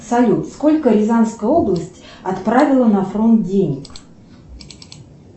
салют сколько рязанская область отправила на фронт денег